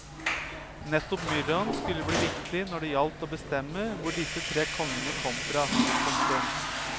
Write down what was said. Nettopp myrraen skulle bli viktig når det gjaldt å bestemme hvor disse tre kongene kom fra. punktum